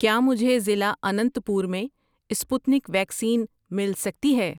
کیا مجھے ضلع اننت پور میں سپوتنک ویکسین مل سکتی ہے؟